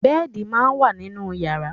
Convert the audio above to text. Bẹ́ẹ̀di máa ń wà nínú yàrá.